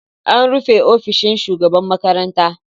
An rufe ofishin shugaban makarantar.